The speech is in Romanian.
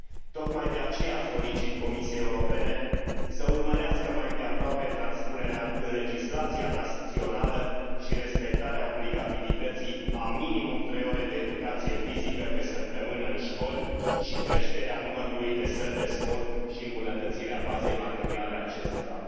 Tocmai de aceea solicit Comisiei Europene să urmărească mai îndeaproape transpunerea în legislația națională și respectarea obligativității a minimum trei ore de educație fizică pe săptămână în școli și creșterea numărului de săli de sport și îmbunătățirea bazei materiale a acestora.